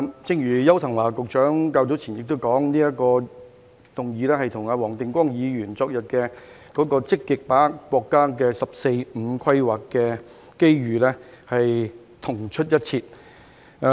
正如邱騰華局長較早前也說，這項議案與黃定光議員昨天的積極把握國家"十四五"規劃的機遇議案同出一轍。